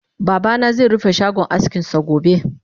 Babana ze rufe shagon askinsa gobe